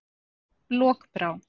Lokbrá